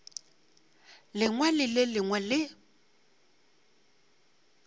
lengwe le le lengwe le